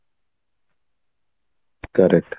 correct